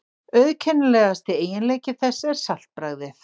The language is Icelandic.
Auðkennilegasti eiginleiki þess er saltbragðið.